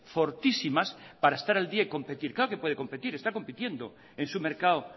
fortísimas para estar al día y competir claro que puede competir está compitiendo en su mercado